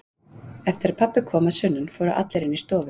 Eftir að pabbi kom að sunnan fóru allir inn í stofu.